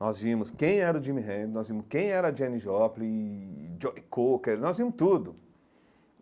Nós vimos quem era o Jimi Hendrix, nós vimos quem era a Janis Joplin, e Joe Cocker, nós vimos tudo.